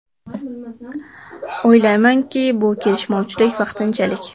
O‘ylaymanki, bu kelishmovchilik vaqtinchalik.